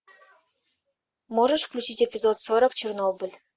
можешь включить эпизод сорок чернобыль